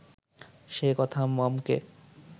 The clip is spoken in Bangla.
সে কথা মমকে